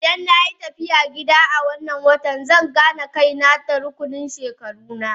Idan na yi tafiya gida a wannan watan zan gane kaina tare da rukunin shekaru na.